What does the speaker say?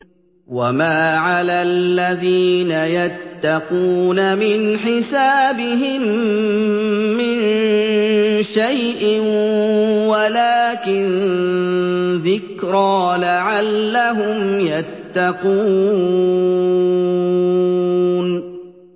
وَمَا عَلَى الَّذِينَ يَتَّقُونَ مِنْ حِسَابِهِم مِّن شَيْءٍ وَلَٰكِن ذِكْرَىٰ لَعَلَّهُمْ يَتَّقُونَ